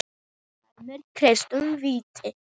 Dæmir Kristinn víti?